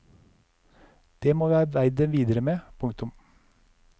Det må vi arbeide videre med. punktum